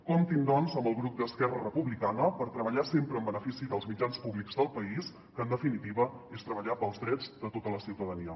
comptin doncs amb el grup d’esquerra republicana per treballar sempre en benefici dels mitjans públics del país que en definitiva és treballar pels drets de tota la ciutadania